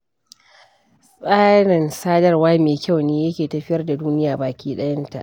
Tsarin sadarwa me kyau ne yake tafiyar da duniya baki ɗayanta.